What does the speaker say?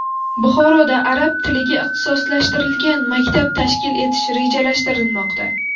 Buxoroda arab tiliga ixtisoslashtirilgan maktab tashkil etish rejalashtirilmoqda.